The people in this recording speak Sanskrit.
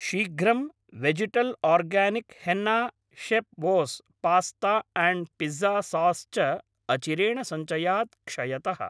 शीघ्रं, वेजिटल् आर्गानिक् हेन्ना शेफ्बोस् पास्ता आण्ड् पिज़्ज़ा सास् च अचिरेण सञ्चयात् क्षयतः।